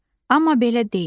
Amma belə deyil.